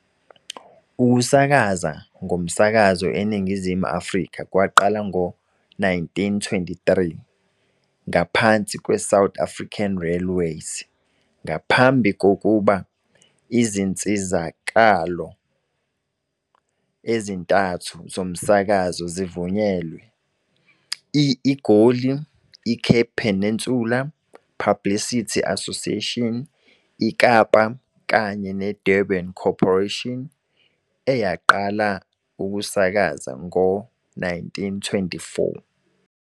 Ukusakaza ngomsakazo e Ningizimu Afrika kwaqala ngo-1923, ngaphansi kwe-South African Railways, ngaphambi kokuba izinsizakalo ezintathu zomsakazo zivunyelwe- i- IGoli, i-Cape Peninsular Publicity Association IKapa kanye ne-Durban Corporation, eyaqala ukusakaza ngo-1924.